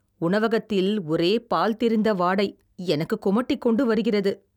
உணவகத்தில் ஒரே பால் திரிந்த வாடை, எனக்கு குமட்டிக்கொண்டு வருகிறது